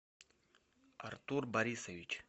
артур борисович